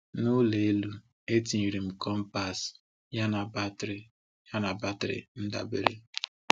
N’ụlọ elu, etinyere m compass, yana batrị yana batrị ndabere.